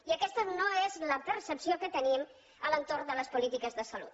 i aquesta no és la percepció que tenim a l’entorn de les polítiques de salut